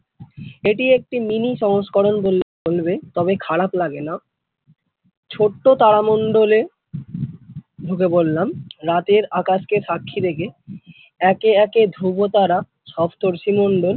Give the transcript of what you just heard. এটি একটি mini সংস্করণ বললে চলবে তবে খারাপ লাগে না ছোট্ট তারা মণ্ডলে ঢুকে পড়লাম রাতের আকাশকে সাক্ষী রেখে একে একে ধ্রুবতারা সপ্তর্ষিমণ্ডল ।